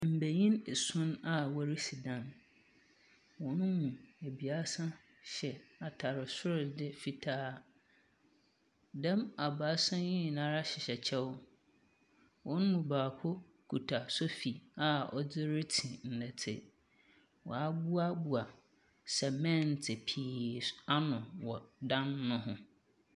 Mbanhin esuon a worisi dan, hɔn mu ebiasa hyɛ atar sordze fitaa, dɛm abiasa yi nyinara hyehyɛ kyɛw, hɔn baako kita sɔfi a ɔdze ritsi ndɛtse. Wɔaboaboa sɛmɛnt pii ano wɔ dan no ho.